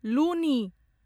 लुनी